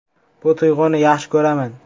Bu tuyg‘uni yaxshi ko‘raman.